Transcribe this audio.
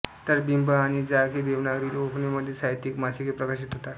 तर बिंब आणि जाग हे देवनागरी कोंकणीमध्ये साहित्यिक मासिके प्रकाशित होतात